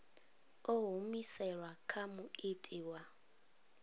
ḓo humiselwa kha muiti wa